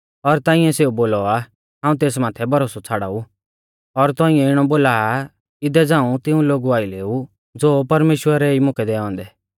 और तौंइऐ सेऊ बोला आ हाऊं तेस माथै भरोसौ छ़ाड़ाऊ और तौंइऐ इणौ बोला आ इदै हाऊं तिऊं लोगु आइलै ऊ ज़ो परमेश्‍वरै ई मुकै दैऔ औन्दै